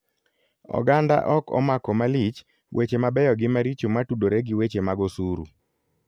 Oganda ok omako malich weche mabeyo gi maricho matudore gi weche mag osuru.